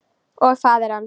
Og faðir hans.